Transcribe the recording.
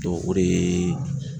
o de yee